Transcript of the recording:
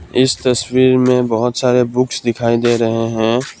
इस तस्वीर में बहौत सारे बुक्स दिखाई दे रहे हैं।